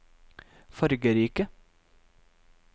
fargerike